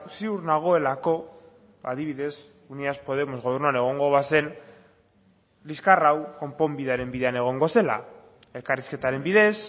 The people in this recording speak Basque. ziur nagoelako adibidez unidas podemos gobernuan egongo bazen liskar hau konponbidearen bidean egongo zela elkarrizketaren bidez